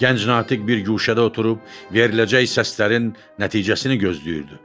Gənc natiq bir guşədə oturub veriləcək səslərin nəticəsini gözləyirdi.